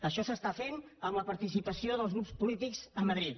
això es fa amb la participació dels grups polítics a madrid